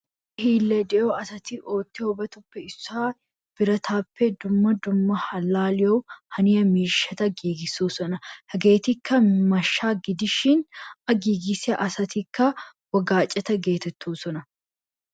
Kushshiyaa hiillay de'iyo asati oottiyobatuppe issoy biratappe dumma dumma allaliyawu haniya miishshata giigisosona. Hegettikka mashsha gidishin a giigisiya asatikka wogaceta geetetosona.